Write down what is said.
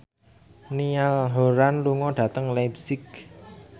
Niall Horran lunga dhateng leipzig